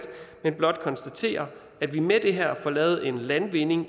vil blot konstatere at vi med det her får lavet en landvinding